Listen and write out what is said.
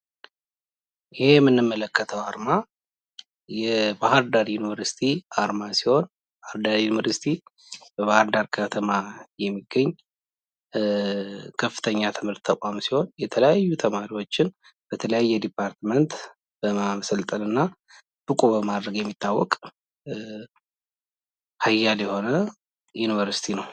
ይህ የምንመለከተው አርማ የባህር ዳር ዩኒቨርሲቲ አርማ ሲሆን የባህር ዳር ዩኒቨርሲቲ በባህር ዳር ከተማ የሚገኝ ከፍተኛ የትምህርት ተቋም ሲሆን የተለያዩ ተማሪዎችን በተለያየ ዲፓርትመንት በማሰልጠን እና ብቁ በማድረግ የሚታወቅ ሃያል የሆነ ዩኒቨርሲቲ ነው።